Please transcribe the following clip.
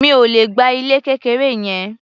Mi ò le gba ilé kékeré yẹn.